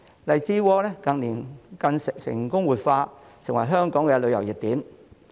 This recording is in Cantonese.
荔枝窩近年更成功活化，成為香港的旅遊熱點。